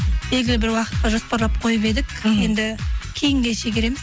белгілі бір уақытқа жоспарлап қойып едік енді кейінге шегереміз